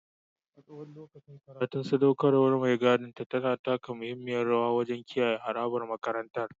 A tsawon lokacin karatun, sadaukarwar mai gadin ta taka muhimmiyar rawa wajen kiyaye harabar makarantar.